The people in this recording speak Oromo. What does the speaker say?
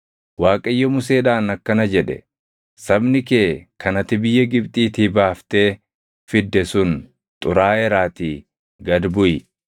Waaqayyo Museedhaan akkana jedhe; “Sabni kee kan ati biyya Gibxiitii baaftee fidde sun xuraaʼeeraatii gad buʼi.